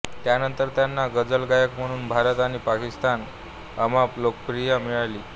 त्यानंतर त्यांना गझल गायक म्हणून भारत आणि पाकिस्तानात अमाप लोकप्रियता मिळाली